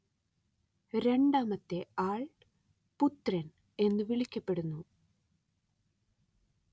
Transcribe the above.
രണ്ടാമത്തെ ആള്‍ പുത്രന്‍ എന്ന് വിളിക്കപ്പെടുന്നു